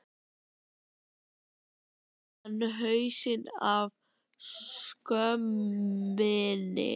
Nú beit hann hausinn af skömminni!